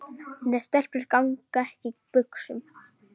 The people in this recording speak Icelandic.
Nei, stelpur ganga ekki í buxum.